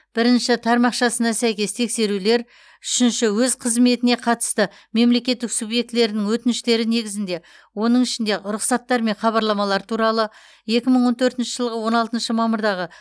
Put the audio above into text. бірінші тармақшасына сәйкес тексерулер үшінші өз қызметіне қатысты мемлекеттік субъектілерінің өтініштері негізінде оның ішінде рұқсаттар және хабарламалар туралы екі мың он төртінші жылғы он алтыншы мамырдағы